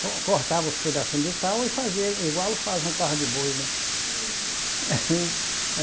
Co, cortava os pedacinhos de pau e fazia, igual faz um carro de boi, né? Uhum.